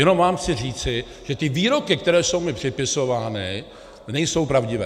Jenom vám chci říci, že ty výroky, které jsou mi připisovány, nejsou pravdivé.